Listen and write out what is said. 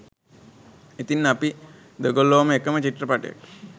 ඉතිං අපි දෙගොල්ලෝම එකම චිත්‍රපටයට